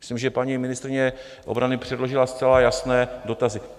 Myslím, že paní ministryně obrany předložila zcela jasné dotazy.